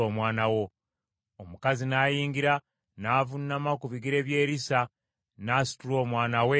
Omukazi n’ayingira, n’avuunama ku bigere bya Erisa, n’asitula omwana we n’afuluma.